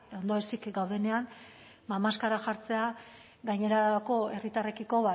ondoezik gaudenean ba maskara jartzea gainerako herritarrekiko